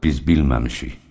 Biz bilməmişik.